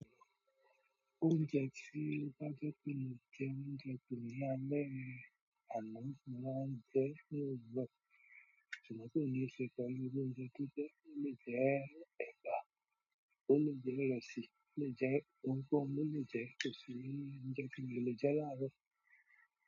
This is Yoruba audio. Oúnjẹ tí wọ́n bá fẹ́ kun ní tééwọ́ nígbà tó yá lẹ́ẹ̀rín àná ni wọ́n ń jẹ tó yọ. Ṣùgbọ́n tó yẹ sépè wí wọ́n jẹ kíké, ó le jẹ́ ẹba, ó le jẹ́ ìrẹsì, ó le jẹ́ pọnpọ́n, ó le jẹ́ ìkẹ́sì, ó le jẹ́ kíléjẹ àárọ̀.